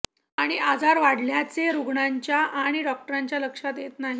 आणि आजार वाढल्याचे रुग्णाच्या आणि डॉक्टरांच्या लक्षात येत नाही